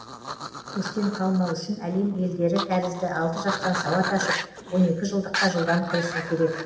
көштен қалмау үшін әлем елдері тәрізді алты жастан сауат ашып он екі жылдыққа жылдам кірісу керек